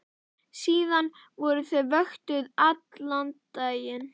Síðan voru þau vöktuð allan daginn.